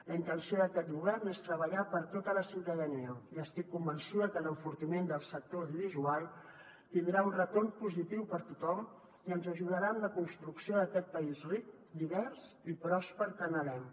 la intenció d’aquest govern és treballar per a tota la ciutadania i estic convençuda que l’enfortiment del sector audiovisual tindrà un retorn positiu per a tothom i ens ajudarà en la construc·ció d’aquest país ric divers i pròsper que anhelem